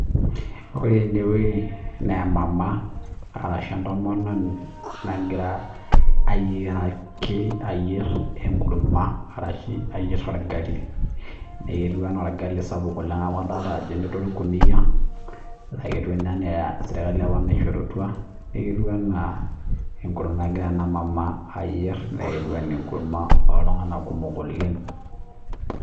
Wore enewuoji naa emama arashu entomononi nakira ayiaraki ayier enkurma arashu ayier orgali. Naai ketiu ketiu enaa orgali sapuk oleng' amu adoolta ajo lelde orkuniyia, naa keetiu ninye enaa serkali apa naishorutua. Neeku ketiu enaa enkurma ekira ena mama ayier, naa ketiu enaa enkurma oltunganak kumok oleng'